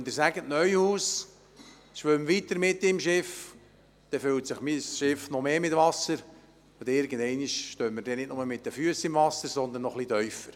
Und wenn Sie sagen, der Neuhaus solle mit seinem Schiff weiterschwimmen, füllt sich mein Schiff noch mit mehr Wasser, und irgendeinmal stehen wir nicht mehr nur mit den Füssen im Wasser, sondern das Wasser reicht dann noch weiter hinauf.